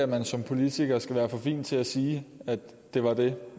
man som politiker skal være for fin til at sige at det var det